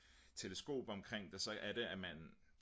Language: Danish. teleskop omkring det så er det at man